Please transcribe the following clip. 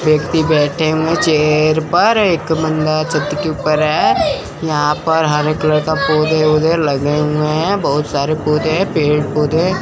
व्यक्ति बैठे हुए चेयर पर एक बंदा छत के ऊपर है यहां पर हरे कलर का पौधे लगे हुए हैं बहुत सारे पौधे पेड़ पौधे है बहुत सारे पेड़ पौधे--